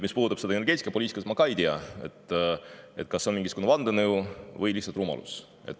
Mis puudutab energiapoliitikat, siis ma ei tea, kas see on mingisugune vandenõu või lihtsalt rumalus.